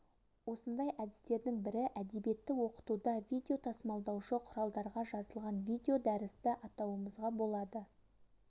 осындай әдістердің бірі әдебиетті оқытуда видео тасымалдаушы құралдарға жазылған видеодәрісті атауымызға болады